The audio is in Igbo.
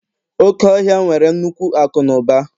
Oke ọhịa nwere nnukwu akụ na ụba